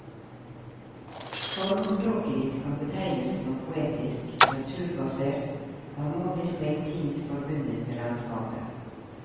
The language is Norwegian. Formspråket ditt kan betegnes som poetisk, naturbasert, harmonisk og intimt forbundet med landskapet.